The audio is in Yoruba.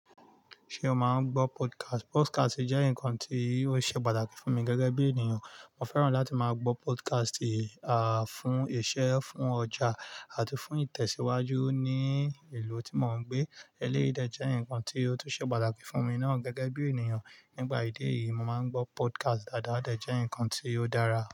Ṣé o máa ń gbọ́ podcast? Podcast jẹ́ nǹkan tí ó ṣe pàtàkì fún mi gẹ́gẹ́ bí ènìyàn. Mo fẹ́ràn láti máa gbọ́ podcast, à fún iṣẹ́, fún ọjà àti fún ìtẹ̀síwájú ní ìlú tí mo ń gbé. Eléyìí jẹ́ nǹkan tí ó tún ṣe pàtàkì fún mi náà gẹ́gẹ́ bí ènìyàn. Nípa idí eyì, mo má ń gbọ́ podcast dáadáa, o de jẹ́ ǹkan tí ó dára.